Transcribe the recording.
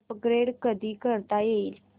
upgrade कधी करता येईल